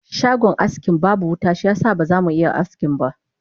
Shagon askin babu wuta shiyasa ba zamu iya askinba